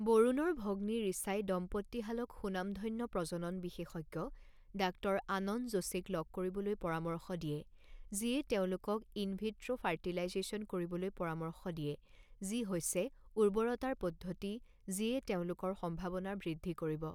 বৰুণৰ ভগ্নী ৰিচাই দম্পতীহালক সুনামধন্য প্ৰজনন বিশেষজ্ঞ ডাঃ আনন্দ যোশীক লগ কৰিবলৈ পৰামৰ্শ দিয়ে, যিয়ে তেওঁলোকক ইন ভিট্ৰ' ফৰ্টিলাইজেচন কৰিবলৈ পৰামৰ্শ দিয়ে, যি হৈছে উৰ্বৰতাৰ পদ্ধতি যিয়ে তেওঁলোকৰ সম্ভাৱনাৰ বৃদ্ধি কৰিব।